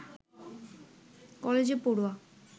কলেজে পড়ুয়া